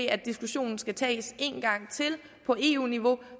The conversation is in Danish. at diskussionen skal tages en gang til på eu niveau